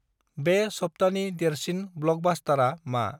बे सप्तानि देरसिन ब्लकबास्टारा मा?